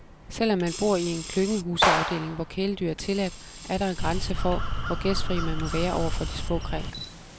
Selv om man bor i en klyngehuseafdeling, hvor kæledyr er tilladt, er der en grænse for, hvor gæstfri man må være overfor de små kræ.